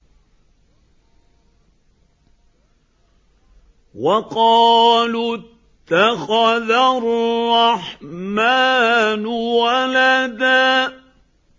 وَقَالُوا اتَّخَذَ الرَّحْمَٰنُ وَلَدًا